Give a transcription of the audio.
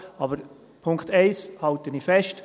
Aber an Punkt 1 halte ich fest.